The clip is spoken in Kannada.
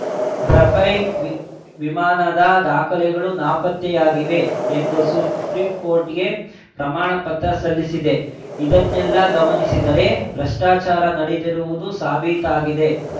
ರಫೇಲ್ ವಿಮಾನದ ದಾಖಲೆಗಳು ನಾಪತ್ತೆಯಾಗಿವೆ ಎಂದು ಸುಪ್ರೀಂ ಕೋರ್ಟ್‌ಗೆ ಪ್ರಮಾಣ ಪತ್ರ ಸಲ್ಲಿಸಿದೆ ಇದನ್ನೆಲ್ಲಾ ಗಮನಿಸಿದರೆ ಭ್ರಷ್ಟಾಚಾರ ನಡೆದಿರುವುದು ಸಾಬೀತಾಗಿದೆ